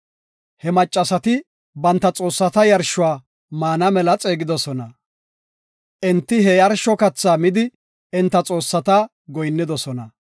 He maccasati banta xoossata yarshuwa maana mela xeegidosona. Enti he yarsho kathaa midi enta xoossata goyinnidosona.